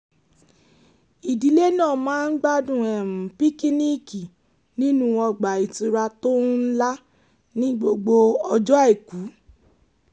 ìdílé náà máa ń gbádùn píkíníìkì nínú ọgbà ìtura tó ńlá ní gbogbo ọjọ́ àìkú